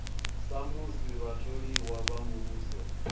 sa musi vhatholiwa vha muvhuso